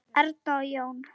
Erna og Jón.